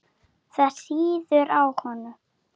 Það sýður á honum.